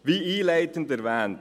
Wie einleitend erwähnt: